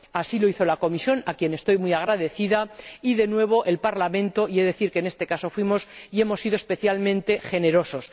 Así lo hicieron la Comisión, a la que estoy muy agradecida, y de nuevo el Parlamento y he de decir que en este caso fuimos y hemos sido especialmente generosos